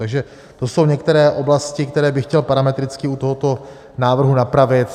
Takže to jsou některé oblasti, které bych chtěl parametricky u tohoto návrhu napravit.